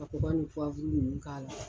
Ka kɔkɔ ni ninnu k'a la.